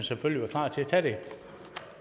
det er det